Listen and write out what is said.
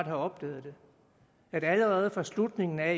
har opdaget det at der allerede fra slutningen af